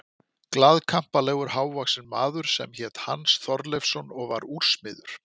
Glaðkampalegur, hávaxinn maður sem hét Hans Þorleifsson og var úrsmiður.